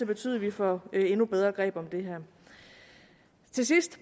betyde at vi får endnu bedre greb om det her til sidst